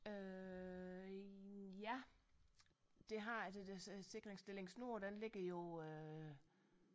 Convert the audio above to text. Øh ja det har jeg det det der sikringsstilling nord den ligger jo øh